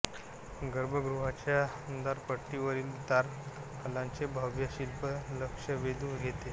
गर्भगृहाच्या द्वारपट्टीवरील द्वारपालाचे भव्य शिल्प लक्ष वेधून घेते